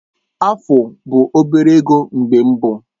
Afu bụ obere ego mgbe mbụ.